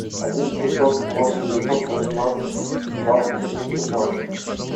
один пятьсот ноль девятьсот восемнадцать двадцать один пятнадцать